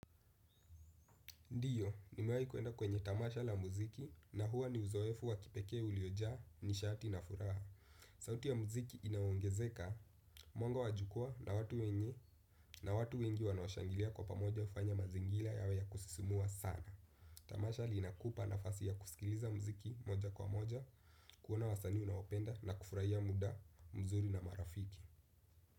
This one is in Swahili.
Ndiyo, nimewahi kuenda kwenye tamasha la mziki na huwa ni uzoefu wa kipekee uliojaa nishati na furaha. Sauti ya mziki inaongezeka, mwango wa jua na watu wenye na watu wengi wanoashangilia kwa pamoja ufanya mazingila yawe ya kusisimua sana. Tamasha inakupa nafasi ya kusikiliza mziki moja kwa moja, kuona wasanii unaowapenda na kufurahia muda mzuri na marafiki.